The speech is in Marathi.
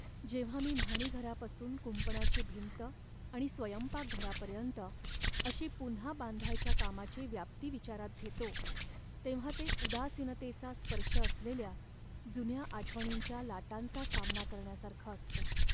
जेव्हा मी न्हाणीघरापासून कुंपणाची भिंत आणि स्वयंपाकघरापर्यंत अशी पुन्हा बांधायच्या कामाची व्याप्ती विचारात घेतो, तेव्हा ते उदासीनतेचा स्पर्श असलेल्या जुन्या आठवणींच्या लाटांचा सामना करण्यासारखं असतं.